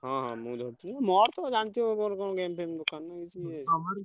ହଁ ହଁ ମୁଁ ଧରିଥିଲି ମୋର କଣ game ଫେମ ଦରକାର ନା ।